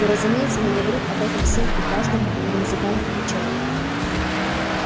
и разумеется не говорит об этом всем и каждому на музыкальных вечерах